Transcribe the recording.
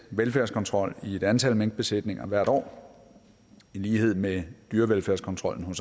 velfærdskontrol i et antal minkbesætninger hvert år i lighed med dyrevelfærdskontrollen